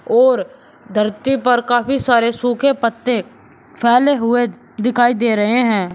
और धरती पर काफी सारे सूखे पत्ते फैले हुए दिखाई दे रहे हैं।